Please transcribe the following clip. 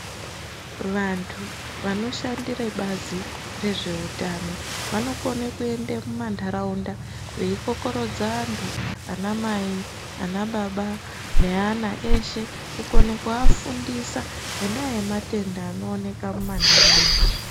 Vantu vanoshandire bazi rezveutano vanokone kuenda kumandaraunda veyi kokeredza vantu ana mai anaba neana eshe kukone kuvafundisa ngenda yematenda anooneka mumandaraunda .